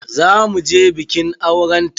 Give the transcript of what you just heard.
Za mu je bikin auren ta.